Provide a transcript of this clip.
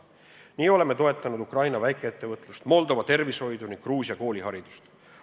Nii oleme toetanud Ukraina väikeettevõtlust, Moldova tervishoidu ning Gruusia kooliharidust.